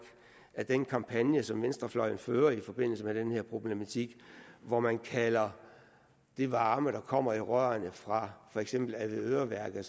at den kampagne som venstrefløjen fører i forbindelse med den her problematik hvor man kalder den varme der kommer i rørene fra for eksempel avedøreværket